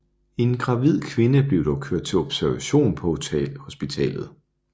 En gravid kvinde blev dog kørt til observation på hospitalet